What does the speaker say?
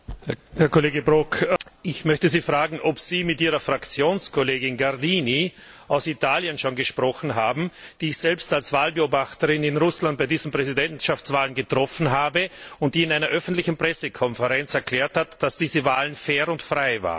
Herr Kollege Brok, ich möchte Sie fragen, ob Sie schon mit Ihrer Fraktionskollegin Gardini aus Italien gesprochen haben, die ich selbst als Wahlbeobachterin in Russland bei diesen Präsidentschaftswahlen getroffen habe, und die in einer öffentlichen Pressekonferenz erklärt hat, dass diese Wahlen fair und frei waren?